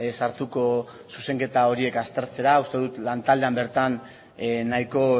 sartuko zuzenketa horiek aztertzera uste dut lantaldean bertan nahiko